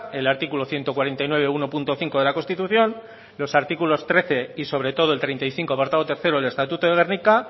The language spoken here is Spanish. el articulo ciento cuarenta y nueve uno punto cinco de la constitución los artículos trece y sobre todo el treinta y cinco apartado tercero el estatuto de gernika